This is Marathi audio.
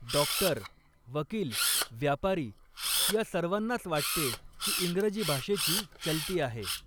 डॉक्टर, वकील, व्यापारी या सर्वांनाच वाटते की इंग्रजी भाषेची चलती आहे.